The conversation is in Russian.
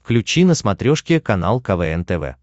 включи на смотрешке канал квн тв